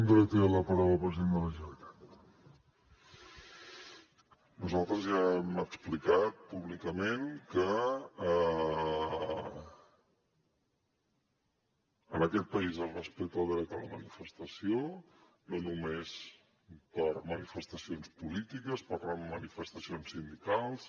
nosaltres ja hem explicat públicament que en aquest país es respecta el dret a la manifestació no només per manifestacions polítiques per anar en manifestacions sindicals